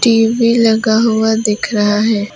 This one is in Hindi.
टी_वी लगा हुआ दिख रहा है।